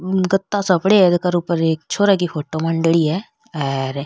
गता सा पड़ा है ऊपर एक छोर की फोटो मांडेडी है हर --